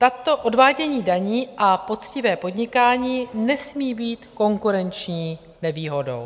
Takto odvádění daní a poctivé podnikání nesmí být konkurenční nevýhodou.